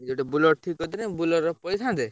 ଗୋଟେ Bolero ଠିକ କରିଥିଲେ Bolero ରେ ପଳେଇଥାନ୍ତେ।